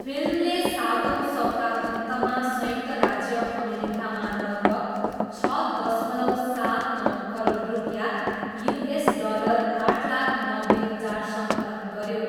फिल्मले सातौँ सप्ताहन्तमा संयुक्त राज्य अमेरिकामा लगभग छ दशमलव सात नौ करोड रुपियाँ, युएस डलर आठ लाख नब्बे हजार सङ्कलन गऱ्यो।